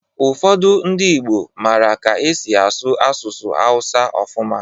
Ụfọdụ ndị Igbo mara ka e si asụ asụsụ Hausa ọfụma